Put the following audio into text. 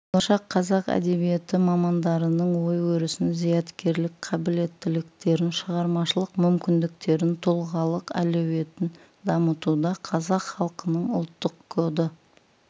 болашақ қазақ әдебиеті мамандарының ой-өрісін зияткерлік қабілеттіліктерін шығармашылық мүмкіндіктерін тұлғалық әлеуетін дамытуда қазақ халқының ұлттық коды